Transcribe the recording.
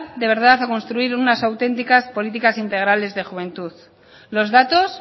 de verdad a construir unas auténticas políticas integrales de juventud los datos